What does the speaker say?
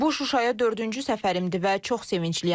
Bu Şuşaya dördüncü səfərimdir və çox sevincliyəm.